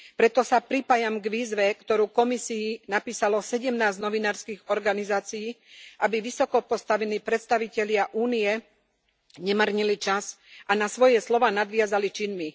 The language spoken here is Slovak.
Preto sa pripájam k výzve, ktorú Komisii napísalo 17 novinárskych organizácií, aby vysokopostavení predstavitelia únie nemárnili čas a na svoje slová nadviazali činmi.